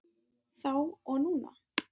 Þá og núna.